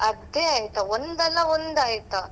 ಅದೆ ಆಯ್ತಾ, ಒಂದ್ ಅಲ್ಲ ಒಂದ್ ಆಯ್ತಾ.